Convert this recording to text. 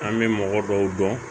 An bɛ mɔgɔ dɔw dɔn